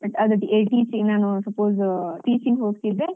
But ಅದು ATC ನಾನು suppose teaching ಹೋಗ್ತಿದ್ರೆ.